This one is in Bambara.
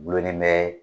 Gulonnen bɛ